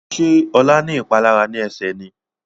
Ṣe Ola ní ìpalára ní Ẹsẹ̀ ní?